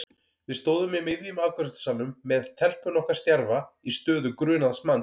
Við stóðum í miðjum afgreiðslusalnum með telpuna okkar stjarfa í stöðu grunaðs manns.